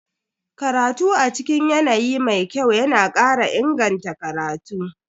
Karatu a cikin yanayi mai kyau yana kara inganta karatu.